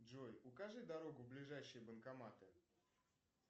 джой укажи дорогу в ближайшие банкоматы